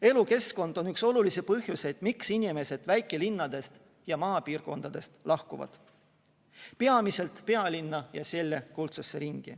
Elukeskkond on üks olulisi põhjuseid, miks inimesed väikelinnadest ja maapiirkondadest lahkuvad, peamiselt pealinna ja selle kuldsesse ringi.